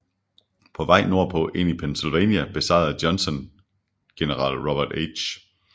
På vej nordpå ind i Pennsylvania besejrede Johnson general Robert H